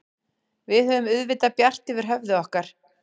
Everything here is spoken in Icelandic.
Við höfum auðvitað bjart yfir höfði okkar.